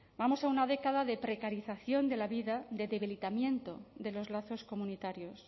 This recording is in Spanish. vamos a una década de precarización de la vida de debilitamiento de los lazos comunitarios